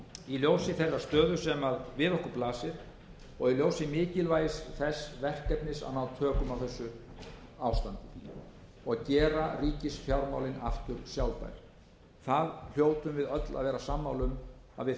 í ljósi þeirrar stöðu sem við okkur blasir og í ljósi mikilvægis þess verkefnis að ná tökum á þessu ástandi og gera ríkisfjármálin aftur sjálfbær það hljótum við öll að vera sammála um að við þurfum